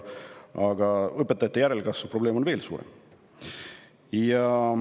Aga õpetajate järelkasvu probleem on veel suurem.